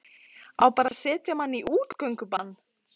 Á bara að setja mann í útgöngubann?